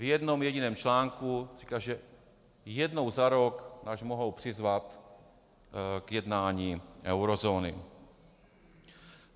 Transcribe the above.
V jednom jediném článku říká, že jednou za rok nás mohou přizvat k jednání eurozóny.